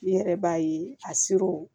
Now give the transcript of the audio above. Ne yɛrɛ b'a ye a sirɔ